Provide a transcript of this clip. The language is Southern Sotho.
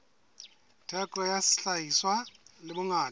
theko ya sehlahiswa le bongata